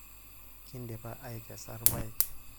Kindipa aikesa ilpayek.